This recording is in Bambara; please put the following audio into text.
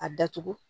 A datugu